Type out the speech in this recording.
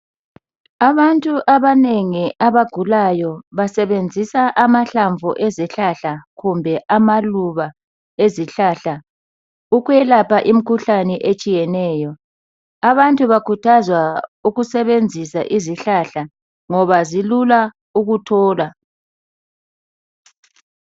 Abantu abanengi abagulayo basebenzisa amahlamvu ezihlahla kumbe amaluba ezihlahla ukwelapha imikhuhlane etshiyeneyo. Abantu bakhuthazwa ukusebenzisa izihlahla ngoba zilula ukuthola.